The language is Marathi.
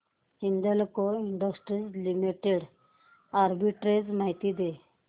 हिंदाल्को इंडस्ट्रीज लिमिटेड आर्बिट्रेज माहिती दे